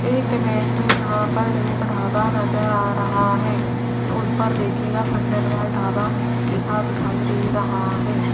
इस इमेज में यहां पर एक ढाबा नजर आ रहा है उस पर देखिएगा खंडेलवाल ढाबा लिखा दिखाई दे रहा है।